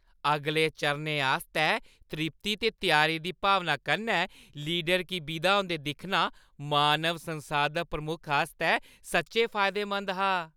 अगले चरणै आस्तै त्रिप्ती ते त्यारी दी भावना कन्नै लीडर गी विदा होंदे दिक्खना मानव संसाधन प्रमुख आस्तै सच्चैं फायदेमंद हा।